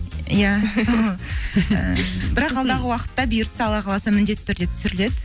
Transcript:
иә бірақ алдағы уақытта бұйыртса алла қаласа міндетті түрде түсіріледі